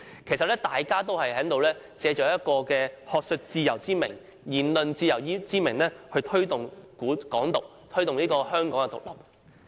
其實大家也是藉學術自由之名、言論自由之名來推動"港獨"，推動香港獨立。